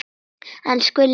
Elsku Lillý okkar.